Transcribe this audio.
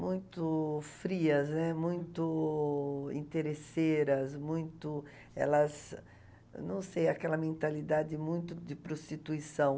muito frias, né, muito interesseiras, muito... elas, não sei, aquela mentalidade muito de prostituição.